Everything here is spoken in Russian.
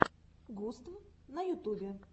густв на ютубе